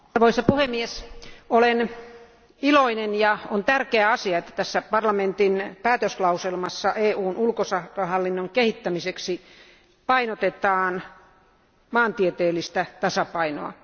Arvoisa puhemies, olen iloinen siitä ja on tärkeä asia, että tässä parlamentin päätöslauselmassa EUn ulkosuhdehallinnon kehittämiseksi painotetaan maantieteellistä tasapainoa.